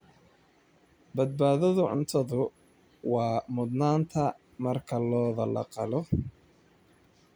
Badbaadada cuntadu waa mudnaanta marka lo'da la qalo.